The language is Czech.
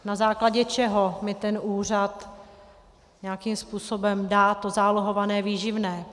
Na základě čeho mi ten úřad nějakým způsobem dá to zálohované výživné?